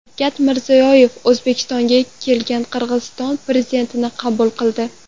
Shavkat Mirziyoyev O‘zbekistonga kelgan Qirg‘iziston prezidentini qabul qildi.